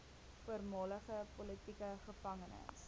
voormalige politieke gevangenes